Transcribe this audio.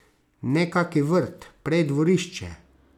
Ne, kaki vrt, prej dvorišče.